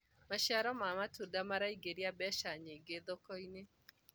maciaro ma matunda maraingiria mbeca nyingi thoko-inĩ